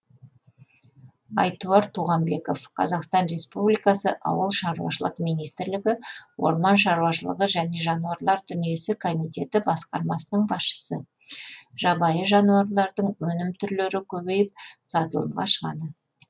айтуар туғанбеков қазақстан республикасы ауыл шарушылық министрлігі орман шаруашылығы және жануарлар дүниесі комитеті басқармасының басшысы жабайы жануарлардың өнім түрлері көбейіп сатылымға шығады